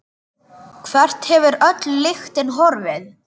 Hvert hefur öll lyktin horfið?